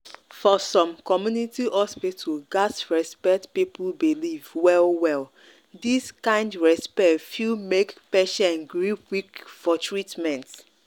for some community hospital gats respect people belief well-well. this kind respect fit make patient gree quick for treatment.